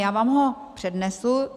Já vám ho přednesu.